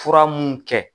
Fura mun kɛ